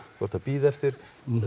þú þarft að bíða eftir